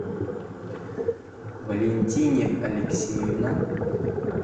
валентине алексеевна